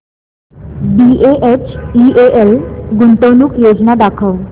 BHEL गुंतवणूक योजना दाखव